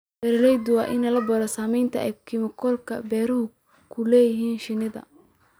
Beeralayda waa in la baro saamaynta ay kiimikooyinka beeruhu ku leeyihiin shinida.